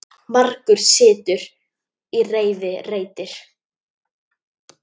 Margur sitt í reiði reitir.